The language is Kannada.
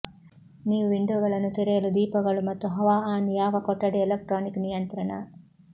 ನೀವು ವಿಂಡೋಗಳನ್ನು ತೆರೆಯಲು ದೀಪಗಳು ಮತ್ತು ಹವಾ ಆನ್ ಯಾವ ಕೊಠಡಿ ಎಲೆಕ್ಟ್ರಾನಿಕ್ ನಿಯಂತ್ರಣ